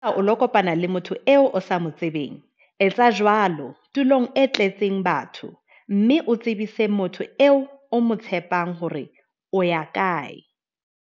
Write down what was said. Haeba o lo kopana le motho eo o sa mo tsebeng, etsa jwalo tulong e tletseng batho mme o tsebise motho eo o mo tshepang hore o ya kae.